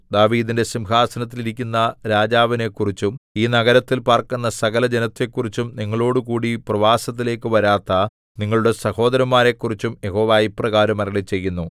ദാവീദിന്റെ സിംഹാസനത്തിൽ ഇരിക്കുന്ന രാജാവിനെക്കുറിച്ചും ഈ നഗരത്തിൽ പാർക്കുന്ന സകലജനത്തെക്കുറിച്ചും നിങ്ങളോടുകൂടി പ്രവാസത്തിലേക്കു വരാത്ത നിങ്ങളുടെ സഹോദരന്മാരെക്കുറിച്ചും യഹോവ ഇപ്രകാരം അരുളിച്ചെയ്യുന്നു